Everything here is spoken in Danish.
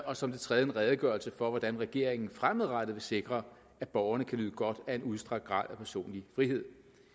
og som det tredje en redegørelse for hvordan regeringen fremadrettet vil sikre at borgerne kan nyde godt af en udstrakt grad af personlig frihed